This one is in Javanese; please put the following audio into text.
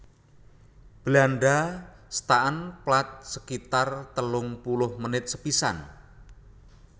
Belanda staan plaat sekitar telung puluh menit sepisan